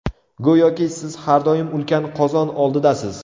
Go‘yoki siz har doim ulkan qozon oldidasiz.